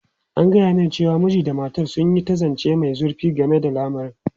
An gaya mani cewa mijin da matar sun yi ta zance mai zurfi game da lamarin.